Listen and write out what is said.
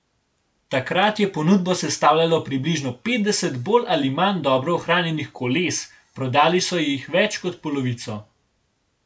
Takrat je ponudbo sestavljajo približno petdeset bolj ali manj dobro ohranjenih koles, prodali so jih več kot polovico.